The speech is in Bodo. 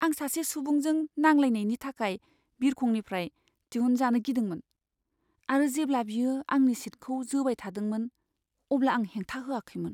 आं सासे सुबुंजों नांलायनायनि थाखाय बिरखंनिफ्राय दिहुनजानो गिदोंमोन आरो जेब्ला बियो आंनि सिटखौ जोबायथादोंमोन अब्ला आं हेंथा होआखैमोन।